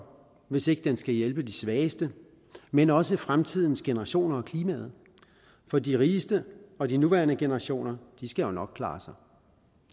hvis ikke den skal hjælpe de svageste men også fremtidens generationer og klimaet for de rigeste og de nuværende generationer skal jo nok klare sig